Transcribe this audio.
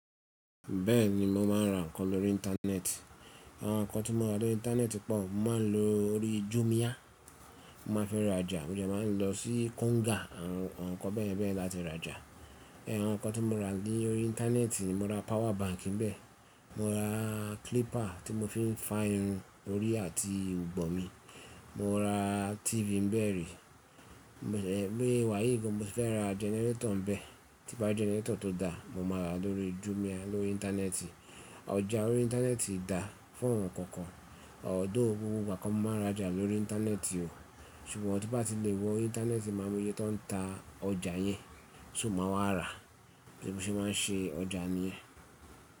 Bẹ́ẹ̀ ni mo máa ń ra nǹkan lórí íńtánẹ́ẹ̀tì. Àwọn nǹkan tí mo rà lórí íńtánẹ́ẹ̀tì pọ̀. Mo máa ń lọ lórí Jumia, mo máa fẹ́ rajà mo máa ń lọ sí Konga àwọn nǹkan bẹ́ẹ̀bẹ́ẹ̀ la ti rajà. Ẹ̀hẹn, àwọn nǹkan tí mo ra ní orí íńtánẹ́ẹ̀tì, mo ra power bank níbẹ̀, mo ra clipper tí mo fi ń fá irun orí àti irugbon mi, mo ra TV nbe ri bi moye wa yìí gbó mo fẹ́ ra generator nbe tí bá ri generator tó dáa mo máa ra lórí Jumia lórí íńtánẹ́ẹ̀tì. Ọjà orí íńtánẹ́ẹ̀tì dáa fún ohun kankan, ọ̀dọ̀ gbogbo ìgbà ko ni mo máa ń rajà lórí íńtánẹ́ẹ̀tì o, ṣùgbọ́n tí bá ti lè wọ íńtánẹ́ẹ̀tì máa mo iyé tó ń ta ọjà yẹn, ṣo máa wá rà, bí mo ṣe máa ń ṣe ọjà nìyẹn.